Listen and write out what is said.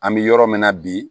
An bɛ yɔrɔ min na bi